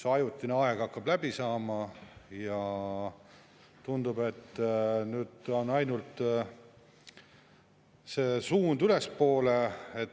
See ajutine aeg hakkab läbi saama ja tundub, et nüüd on suund ainult ülespoole.